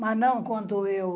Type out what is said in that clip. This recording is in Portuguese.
Mas não quanto eu.